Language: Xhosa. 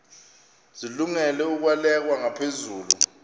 zilungele ukwalekwa ngaphezulu